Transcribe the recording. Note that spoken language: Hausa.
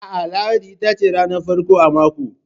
A'a, lahadi itace ranar farko a mako.